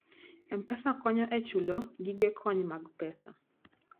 M-Pesa konyo e chulo gige kony mag pesa.